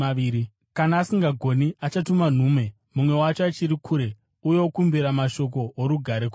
Kana asingagoni, achatuma nhume mumwe wacho achiri kure uye okumbira mashoko orugare kwaari.